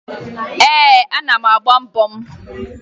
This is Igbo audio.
Ee, ana m agba mbọ m